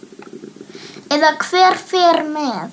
Eða hver fer með.